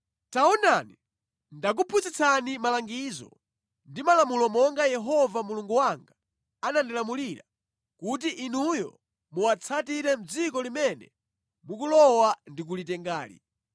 Taonani, ndakuphunzitsani malangizo ndi malamulo monga Yehova Mulungu wanga anandilamulira kuti inuyo muwatsatire mʼdziko limene mukulowa ndi kulitengali.